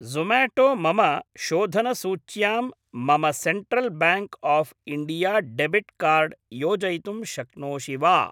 Somato मम शोधनसूच्यां मम Central Bank of India debit card योजयितुं शक्नोषि वा?